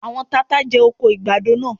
Àwọn tata jẹ oko àgbàdo náà.